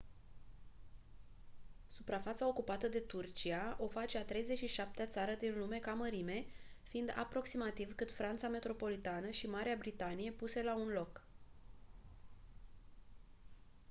suprafața ocupată de turcia o face a 37-a țară din lume ca mărime fiind aproximativ cât franța metropolitană și marea britanie puse la un loc